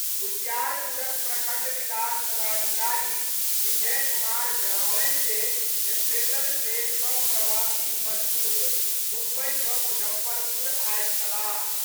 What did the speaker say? उजियारपुरक प्रखंड विकास पदाधिकारी विजय कुमार जनौलनि जे स्पेशल ट्रेन सँ प्रवासी मजदूर मुम्बई सँ मुजफ्फरपुर आयल छलाह।